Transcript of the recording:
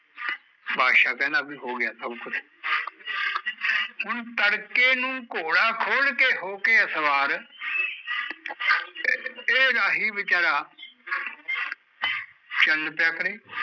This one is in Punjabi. ਬਾਦਸ਼ਾਹ ਕਹਿੰਦਾ ਵੀ ਹੋਗਿਆ ਸਬ ਕੁਛ ਹੁਣ ਤੜਕੇ ਨੂ ਘੋੜਾ ਖੋਲ ਕੇ, ਹੋਕੇ ਸਵਾਰ ਏਹ ਰਾਹੀ ਵਿਚਾਰਾ ਚੱਲ ਪਿਆ ਕਰੇ